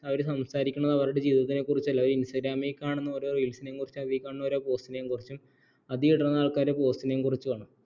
അവർ സംസാരിക്കുന്നത് അവരുടെ ജീവിതത്തിനെക്കുറിച്ചല്ല അവർ instagram മിൽ കാണുന്ന ഓരോ reels നെക്കുറിച്ചും അവർ കാണുന്ന post നെക്കുറിച്ചും അത്ഇടുന്ന ആൾക്കാരുടെ post നെക്കുറിച്ചും ആണ്